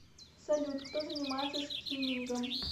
салют кто занимается скиммингом